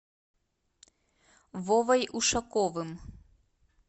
вовой ушаковым